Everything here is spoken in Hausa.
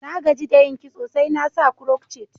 Na gaji da yin kiso, sai na sa crotchet.